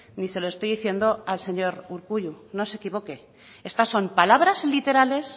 ni se lo estoy diciendo al señor urkullu no se equivoque estas son palabras literales